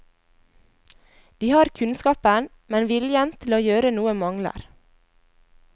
De har kunnskapen, men viljen til å gjøre noe mangler.